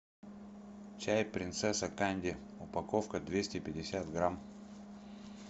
чай принцесса канди упаковка двести пятьдесят грамм